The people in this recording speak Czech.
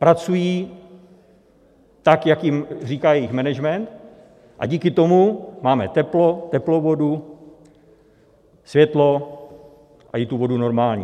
Pracují tak, jak jim říká jejich management, a díky tomu máme teplo, teplou vodu, světlo i tu vodu normální.